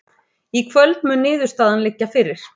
Í kvöld mun niðurstaðan liggja fyrir